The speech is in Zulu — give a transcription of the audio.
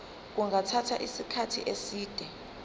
kungathatha isikhathi eside